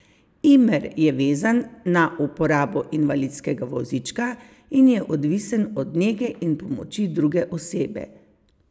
Imer je vezan na uporabo invalidskega vozička in je odvisen od nege in pomoči druge osebe.